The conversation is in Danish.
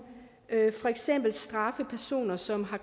straffe personer som har